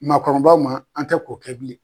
Makɔrɔbaw ma an tɛ k'o kɛ bilen